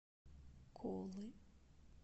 колы